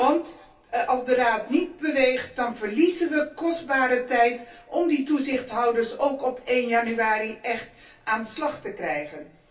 Want als de Raad niet beweegt, dan verliezen we kostbare tijd om de toezichthouders ook op 1 januari echt aan de slag te krijgen.